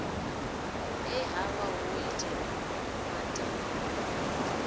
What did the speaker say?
he havha ho itelwavho matambule